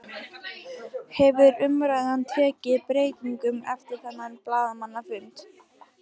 Hefur umræðan tekið breytingum eftir þennan blaðamannafund?